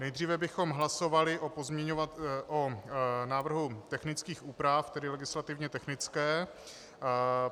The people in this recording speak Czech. Nejdříve bychom hlasovali o návrhu technických úprav, tedy legislativně technické.